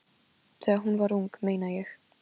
Þegar hún var ung, meina ég.